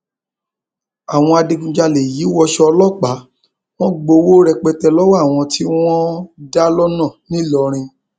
àwọn adigunjalè yìí wọṣọ ọlọpàá wọn gbowó rẹpẹtẹ lọwọ àwọn tí wọn dá lọnà ńìlọrin